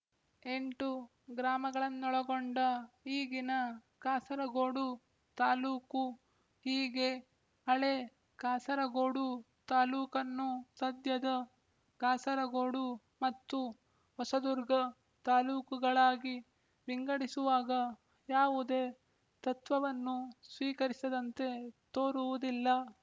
ಎಂಟು ಗ್ರಾಮಗಳನ್ನೊಳಗೊಂಡ ಈಗಿನ ಕಾಸರಗೋಡು ತಾಲ್ಲೂಕು ಹೀಗೆ ಹಳೇ ಕಾಸರಗೋಡು ತಾಲೂಕನ್ನು ಸದ್ಯದ ಕಾಸರಗೋಡು ಮತ್ತು ಹೊಸದುರ್ಗ ತಾಲ್ಲೂಕುಗಳಾಗಿ ವಿಂಗಡಿಸುವಾಗ ಯಾವುದೇ ತತ್ವವನ್ನು ಸ್ವೀಕರಿಸಿದಂತೆ ತೋರುವುದಿಲ್ಲ